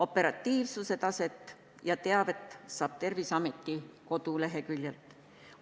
Operatiivsuse taset ja teavet saab Terviseameti koduleheküljelt.